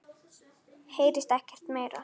Heyrist ekkert meira.